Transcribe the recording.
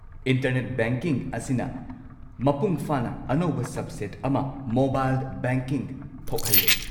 Internet banking ꯑꯁꯤꯅ ꯃꯄꯨꯡꯐꯥꯅ ꯑꯅꯧꯕ ꯁꯕꯁꯦꯠ ꯑꯃ - ꯃꯣꯕꯥꯏꯜ ꯕꯦꯡꯀꯤꯡ - ꯊꯣꯛꯍꯜꯂꯦ꯫